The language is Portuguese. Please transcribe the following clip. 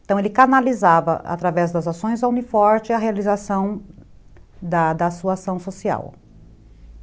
Então ele canalizava, através das ações, a Uni Forte e a realização da sua ação social.